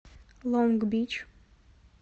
лонг бич